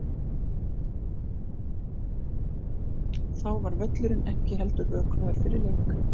Þá var völlurinn ekki heldur vökvaður fyrir leik.